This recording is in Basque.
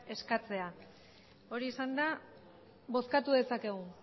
eskatzea hori esanda bozkatu dezakegu